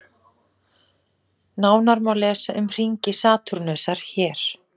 Nánar má lesa um hringi Satúrnusar hér.